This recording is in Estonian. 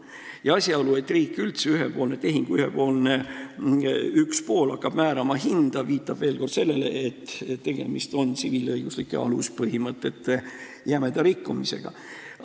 Ja asjaolu, et on selles mõttes ühepoolne tehing, et üks pool hakkab määrama hinda, viitab veel kord sellele, et tegemist on tsiviilõiguslike aluspõhimõtete jämeda rikkumisega.